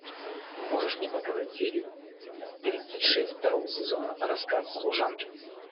можешь мне показать серию тридцать шесть второго сезона рассказ служанки